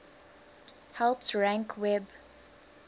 helps rank web